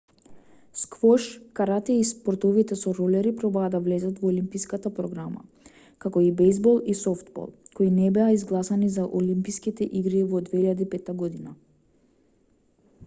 сквош карате и спортовите со ролери пробаа да влезат во олимписката програма како и бејзбол и софтбол кои не беа изгласани за олимписките игри во 2005 год